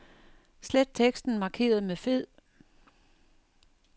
Slet teksten markeret med fed.